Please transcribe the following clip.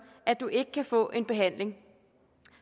at man ikke kan få en behandling